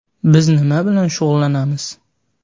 Biz nima bilan shug‘ullanamiz?